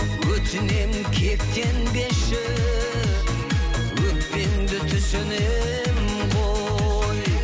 өтінемін кектенбеші өкпеңді түсінемін ғой